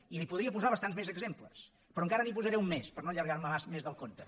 i li’n podria posar bastants més exemples però encara li’n posaré un més per no allargar me més del compte